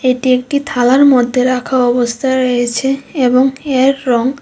এটি একটি থালার মধ্যে রাখা অবস্থায় রয়েছে এবং এর রং--